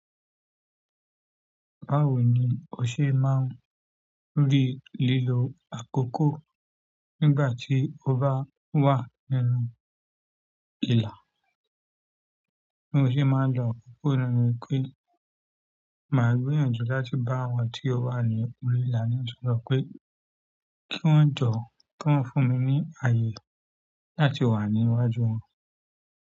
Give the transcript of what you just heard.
Báwo ni o ṣe máa ń rí lílo àkókò nígbà tí o bá wà nínú ìla? Ti moṣe máa ń lọ akoko nipé, máa gbìyànjú láti bá àwọn tí ó wà ní orí ìlà ní sọ̀sọ̀ pé, kí wọ́n jọ̀, kí wọ́n fún mi ní àyè láti wà ní iwájú wọn?